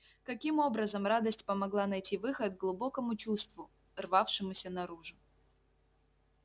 каким образом радость помогла найти выход глубокому чувству рвавшемуся наружу